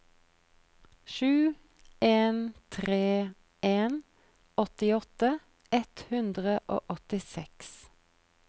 sju en tre en åttiåtte ett hundre og åttiseks